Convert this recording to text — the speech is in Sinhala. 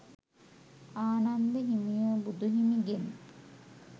ආනන්ද හිමියෝ බුදු හිමිගෙන්